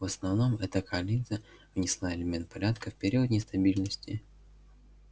в основном эта коалиция внесла элемент порядка в период нестабильности